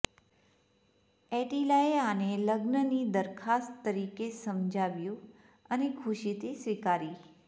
એટિલાએ આને લગ્નની દરખાસ્ત તરીકે સમજાવ્યું અને ખુશીથી સ્વીકારી